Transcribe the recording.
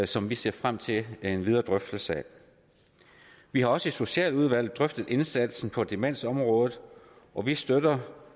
som vi ser frem til videre drøftelse af vi har også i socialudvalget drøftet indsatsen på demensområdet og vi støtter